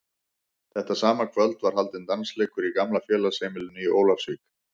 Þetta sama kvöld var haldinn dansleikur í gamla félagsheimilinu í Ólafsvík.